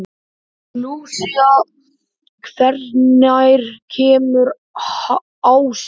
Lúsía, hvenær kemur ásinn?